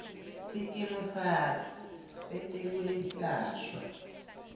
sikimu sakho setekwelashwa